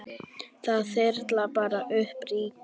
Það þyrlar bara upp ryki.